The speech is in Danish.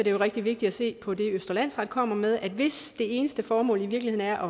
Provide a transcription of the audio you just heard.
er rigtig vigtigt at se på det østre landsret kommer med nemlig at hvis det eneste formål i virkeligheden er